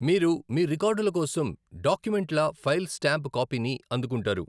మీరు మీ రికార్డుల కోసం డాక్యుమెంట్ల ఫైల్ స్టాంప్డ్ కాపీని అందుకుంటారు.